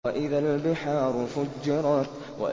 وَإِذَا الْبِحَارُ فُجِّرَتْ